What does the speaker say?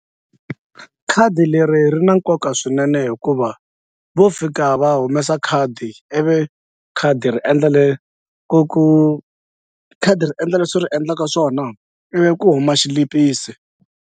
Khadi leri ri na nkoka swinene hikuva vo fika va humesa khadi ivi khadi ri endla ku ku khadi ri endla leswi ri endlaka swona ivi ku huma xilipisi.